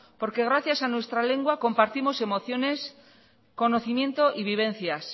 porque gracias a nuestra lengua compartimos emociones conocimiento y vivencias